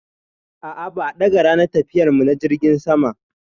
A'a, ba a ɗaga ranar tafiyar mu na jirgin sama.